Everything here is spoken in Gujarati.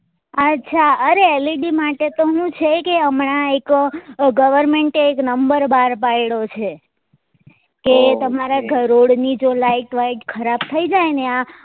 અચ્છા અરે LED માટે તો હું છે કે હમણાં એક અ government એ number બાર પાડ્યો છે કે તમારા ઘરોળ ની જો light હોય ખરાબ થઇ જાય ને આ